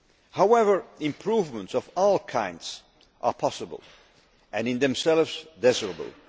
However, improvements of all kinds are possible and in themselves desirable.